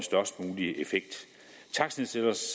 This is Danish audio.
størst